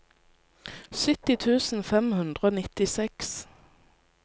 sytti tusen fem hundre og nittiseks